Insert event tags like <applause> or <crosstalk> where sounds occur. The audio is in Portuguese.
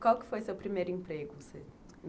Qual foi o seu primeiro emprego? <unintelligible>